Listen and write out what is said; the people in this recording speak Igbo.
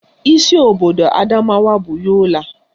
Isi obodo Adamawa bụ Yola